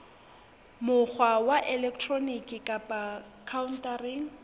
mokgwa wa elektroniki kapa khaontareng